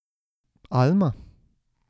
Alma?